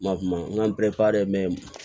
Ma kuma n ga